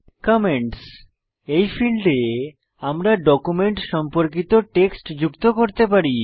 comments এই ফীল্ডে আমরা ডকুমেন্ট সম্পর্কিত টেক্সট যুক্ত করতে পারি